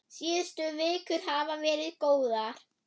Síðustu vikur hafa verið góðar.